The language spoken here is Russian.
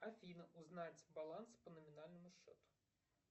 афина узнать баланс по номинальному счету